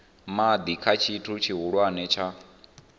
madi kha tshithu tshihulwane tsha